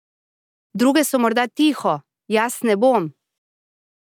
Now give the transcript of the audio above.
Druge so morda tiho, jaz ne bom!